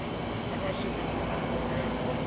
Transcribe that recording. ba ba senang nomoro ya